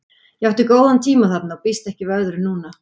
Ég átti góða tíma þarna og býst ekki við öðru núna.